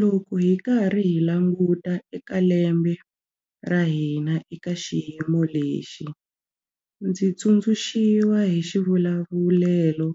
Loko hi karhi hi languta eka lembe ra hina eka xiyimo lexi, ndzi tsundzuxiwa hi xivulavulelo